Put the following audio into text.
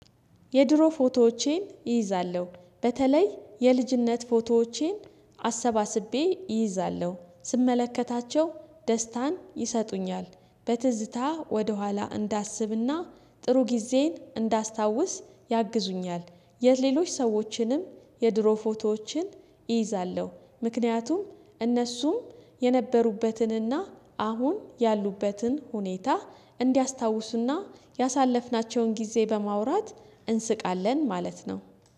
የድሮ ፎቶዎቼን እይዛለሁ በተለይ የልጅነት ፎቶዎቼን አሰባስቤ እይዛለሁ ስመለከታቸው ደስታን ይሰጡኛል። በትዝታ ወደኋላ እንዳስብና ጥሩ ጊዜን እንዳስታውስ ያግዙኛል የሌሎች ሰዎችንም የድሮ ፎቶዎችን እይዛለሁ ምክንያቱም እነሱም የነበሩበትንና አሁን ያሉበትን ሁኔታ እንዲያስታውሱና ያሳለፍናቸውን ጊዜ በማውራት እንስቃለን ማለት ነው።